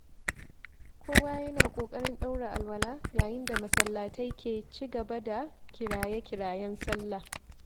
Kowa yana ƙoƙarin ɗaura alawa yayin da masallatai ke ci gaba da kiraye-kirayen salla.